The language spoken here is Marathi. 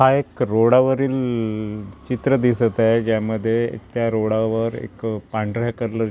हा एक रोडावरील चित्र दिसत आहे ज्यामध्ये त्या रोडावर एक पांढऱ्या कलर --